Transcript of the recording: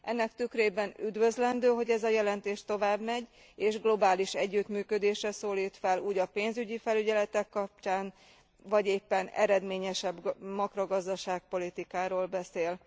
Ennek tükrében üdvözlendő, hogy ez a jelentés tovább megy, és globális együttműködésre szólít fel a pénzügyi felügyeletek kapcsán, vagy éppen eredményesebb makrogazdaság politikáról beszél.